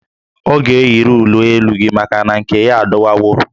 Ọ ga-eyiri uwe elu gị maka na nke ya adọwawo